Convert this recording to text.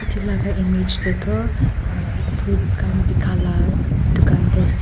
Etu laga image te toh aah fruits khan beka la dukan te ase.